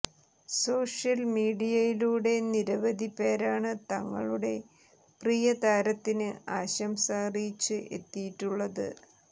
social മീഡിയയിലൂടെ നിരവധി പേരാണ് തങ്ങളുടെ പ്രിയതാരത്തിന് ആശംസ അറിയിച്ച് എത്തിയിട്ടുള്ളത്